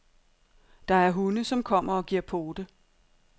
Der er hunde, som kommer og giver pote.